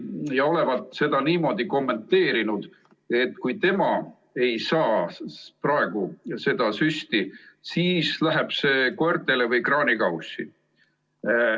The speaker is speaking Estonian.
Ta olevat seda kommenteerinud niimoodi, et kui tema seda süsti praegu ei saa, siis läheb see koertele või kraanikaussi.